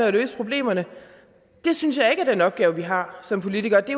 at løse problemerne det synes jeg ikke er den opgave vi har som politikere det